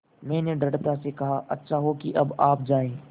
मैंने दृढ़ता से कहा अच्छा हो कि अब आप जाएँ